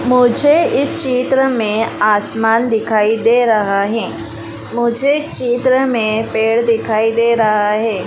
मुझे इस चित्र में आसमान दिखाई दे रहा है मुझे इस चित्र में पेड़ दिखाई दे रहा हैं।